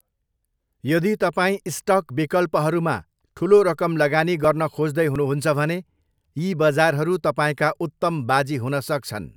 यदि तपाईँ स्टक विकल्पहरूमा ठुलो रकम लगानी गर्न खोज्दै हुनुहुन्छ भने, यी बजारहरू तपाईँका उत्तम बाजी हुन सक्छन्।